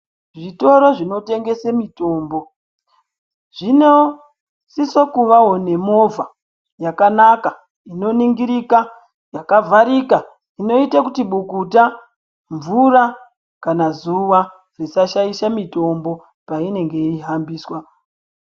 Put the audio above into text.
Zvitoro zvinotengese mitombo zvinosisa kuvawo nemovha yakanaka inoningirika yakavharika inoite kuti bukuta , mvura kana zuva zvisashaisha mitombo patinenge yeihambiswa.